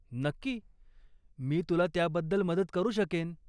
नक्की. मी तुला त्याबद्दल मदत करू शकेन.